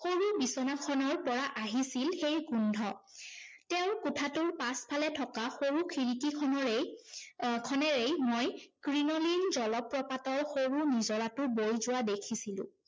সৰু বিচনাখনৰ পৰা আহিছিল সেই গোন্ধ। তেওঁৰ কোঠাটোৰ পাছফালে থকা সৰু খিৰিকিখনেৰে, আহ খনেৰেই, মই ক্ৰিনোলিন জলপ্ৰপাতৰ সৰু নিজৰাটো বৈ যোৱা দেখিছিলো।